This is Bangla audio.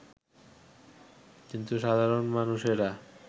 কিন্তু সাধারণ মানুষেরা